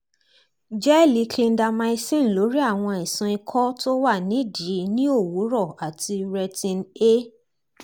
gẹ́ẹ̀lì clindamycin lórí àwọn àìsàn ikọ̀ tó wà nídìí ní òwúrọ̀ àti retin- a 0